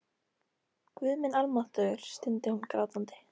Guð minn almáttugur, stundi hún grátandi.